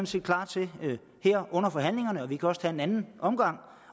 set klar til her under forhandlingerne og vi kan også tage en anden omgang